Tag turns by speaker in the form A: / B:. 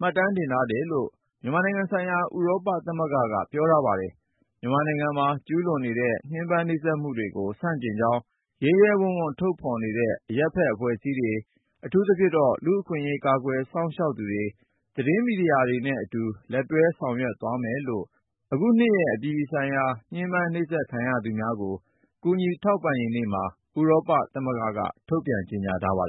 A: မှတ်တမ်းတင်ထားတယ်လို့ မြန်မာနိုင်ငံဆိုင်ရာ ဥရောပသမဂ္ဂက ပြောထားပါတယ်။ မြန်မာနိုင်ငံမှာ ကျူးလွန်နေတဲ့ ညှဉ်းပန်းနှိပ်စက်မှုတွေကို ဆန့်ကျင်ကြောင်း ရဲရဲရင့်ရင့်ထုတ်ဖော်နေတဲ့ အရပ်ဘက်အဖွဲ့တွေ၊ အထူးသဖြင့် လူ့အခွင့်အရေး ကာကွယ်စောင့်ရှောက်သူတွေ၊ သတင်းမီဒီယာသမားတွေနဲ့ အတူလက်တွဲဆောင်ရွက်သွားမယ်လို့လည်း အခုနှစ်ရဲ့ အပြည်ပြည်ဆိုင်ရာ ညှဉ်းပန်းနှိပ်စက်ခံရသူများကို ကူညီထောက်ပံ့ရေးနေ့မှာ ဥရောပသမဂ္ဂက ထုတ်ပြန်ထားပါတယ်